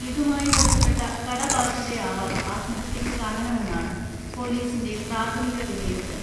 ഇതുമായി ബന്ധപ്പെട്ട കടബാധ്യതയാവാം ആത്മഹത്യക്കു കാരണമെന്നാണ് പൊലീസിന്റെ പ്രാഥമിക വിലയിരുത്തൽ.